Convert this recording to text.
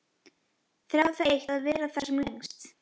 Þráði það eitt að vera þar sem lengst.